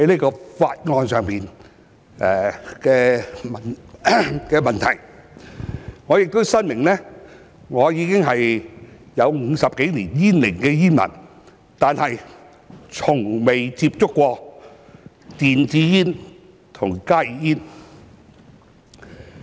我亦申明，我是已有50多年煙齡的煙民，但我從未接觸過電子煙及加熱煙。